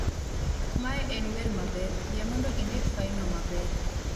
mae en wer maber, yie mondo indik failno maber